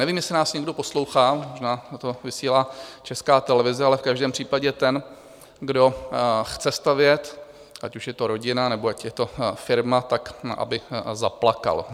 Nevím, jestli nás někdo poslouchá, zda to vysílá Česká televize, ale v každém případě ten, kdo chce stavět, ať už je to rodina, nebo ať je to firma, tak aby zaplakal.